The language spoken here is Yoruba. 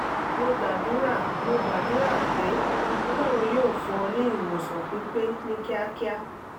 mo gbàdúrà mo gbàdúrà pé ọlọ́run yóò fún ọ ní ìwòsàn pípé ní kíákíá